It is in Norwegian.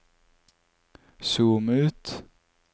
zoom ut